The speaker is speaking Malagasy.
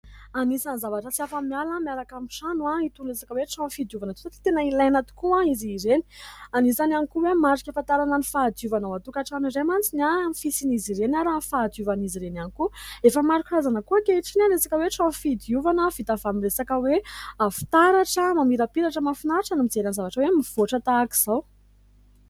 Anisan'ny zavatra tsy afa-miala miaraka amin'ny trano itony resaka hoe trano fidiovana itony satria tena ilaina tokoa izy ireny. Anisan'ny ihany koa hoe marika ahafantarana ny fahadiovana ao an-trokantrano iray mantsy ny fisian'izy ireny ary ny fahadiovan'izy ireny ihany koa. Efa maro karazana koa ankehitriny ny resaka hoe trano fidiovana vita avy amin'ny resaka hoe fitaratra mamirapiratra. Mahafinaritra ny mijery ny zavatra hoe mivoatra tahak'izao.